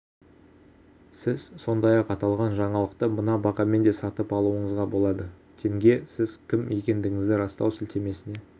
сіз сондай-ақ аталған жаңалықты мына бағамен де сатып алуыңызға болады тенге сіз кім екендігіңізді растау сілтемесіне